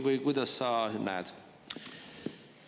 Või kuidas sa näed?